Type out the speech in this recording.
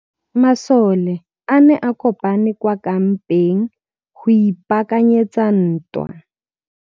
Masole a ne a kopane kwa kampeng go ipaakanyetsa ntwa.